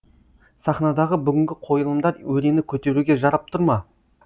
сахнадағы бүгінгі қойылымдар өрені көтеруге жарап тұр ма